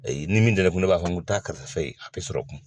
Ayi, ni min tɛ ne kun, ne b'a fɔ ko taa karisa fe yen ye a tɛ sɔrɔ n kun.